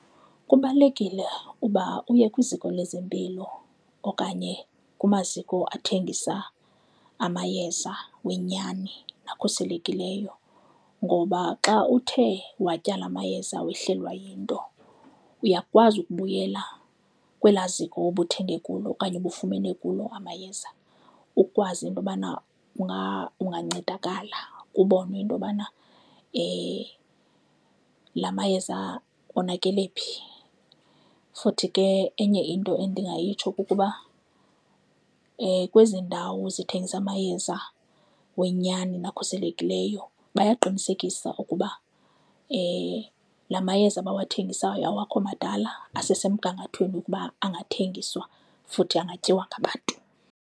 Kubalulekile uba uye kwiziko lezempilo okanye kumaziko athengisa amayeza wenyani akhuselekileyo. Ngoba xa uthe watya la amayeza wehlelwa yinto, uyakwazi ukubuyela kwelaa ziko ubuthenge kulo okanye ubufumene kulo amayeza ukwazi into yobana ungancedakala, kubonwe into yobana la mayeza onakele phi. Futhi ke enye into endingayitsho kukuba kwezi ndawo zithengisa amayeza wenyani na ekhuselekileyo bayaqinisekisa ukuba la mayeza abathengisayo awakho madala, asesemgangathweni ukuba angathengiswa futhi angatyiwa ngabantu.